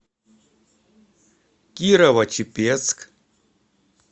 кирово чепецк